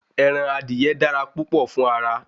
Ẹran adìye dára púpọ̀ fún ara